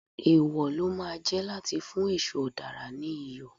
Èwò ló máa jẹ́ láti fún èṣù ọ̀dàrà ní Iyọ̀.